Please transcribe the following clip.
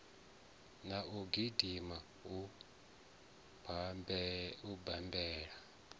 na u gidima u bammbela